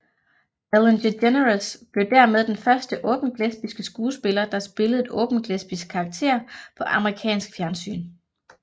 Ellen DeGeneres blev dermed den første åbent lesbiske skuespiller der spillede en åbent lesbisk karakter på amerikansk fjernsyn